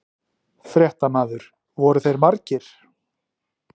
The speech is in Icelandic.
Fréttamaður: Voru þeir margir?